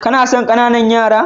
Kana son ƙananan yara?